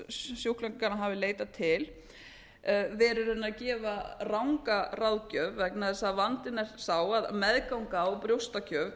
sjúklingarnir hafa leitað til verið í raun að gefa ranga ráðgjöf vegna þess að vandinn er sá að meðganga og brjóstagjöf